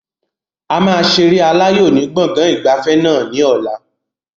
A máa ṣeré aláyò ni gbọ̀ngàn ìgbafẹ́ náà ni ọ̀la